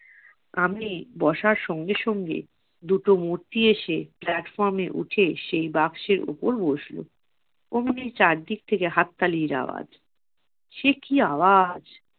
আমি বসার সঙ্গে সঙ্গে দুটো মূর্তি এসে platform এ উঠে সেই বাক্সের উপর বসলো। অমনি চারদিক থেকে হাত তালির আওয়াজ। সে কি আওয়াজ,